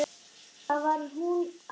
Það var hún amma.